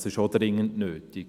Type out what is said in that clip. Das ist auch dringend nötig.